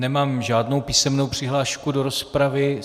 Nemám žádnou písemnou přihlášku do rozpravy.